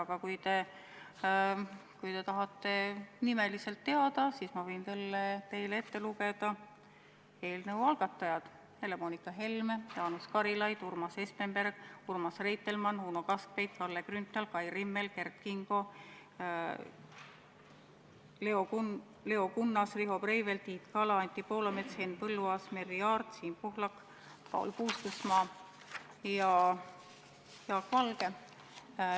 Aga kui te tahate nimeliselt teada, siis ma võin teile ette lugeda eelnõu algatajad: Helle-Moonika Helme, Jaanus Karilaid, Urmas Espenberg, Urmas Reitelmann, Uno Kaskpeit, Kalle Grünthal, Kai Rimmel, Kert Kingo, Leo Kunnas, Riho Breivel, Tiit Kala, Anti Poolamets, Henn Põlluaas, Merry Aart, Siim Pohlak, Paul Puustusmaa ja Jaak Valge.